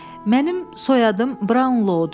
Mənim soyadım Brown Lowdur.